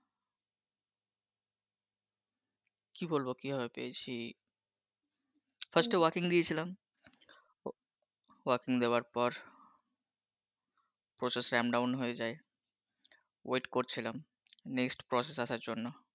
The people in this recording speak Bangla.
কি বলব কী ভাবে পেয়েছি। প্রথমে walk in দিয়েছিলাম। walk in দেওয়ার পর process ramp down বন্ধ হয়ে যায়, wait করছিলাম, পরবর্তী process আসার জন্য